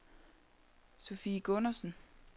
Sofie Gundersen